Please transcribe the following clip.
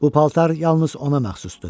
Bu paltar yalnız ona məxsusdur.